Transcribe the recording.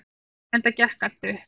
Enda gekk allt upp.